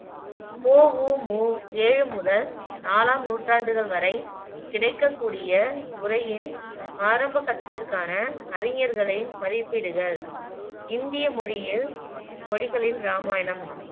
பொ ஊ மு ஏழு முதல் நாலாம் நூற்றாண்டுகள் வரை கிடைக்கக்கூடிய உரையின் ஆரம்ப கட்டத்திற்கான அறிஞர்களை மதிப்பீடுகள் இந்திய மொழியில் மொழிகளில் இராமாயணம்